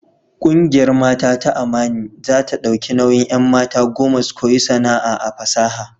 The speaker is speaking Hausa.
Kungiyar Mata ta Amani za ta dauki nauyin 'an. mata goma su koyi sana'a a fasaha.